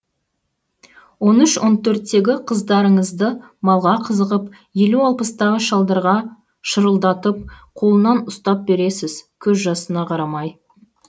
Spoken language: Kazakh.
он үш он төрттегі қыздарыңызды малға қызығып елу алпыстағы шалдарға шырылдатып қолынан ұстап бересіз көз жасына қарамай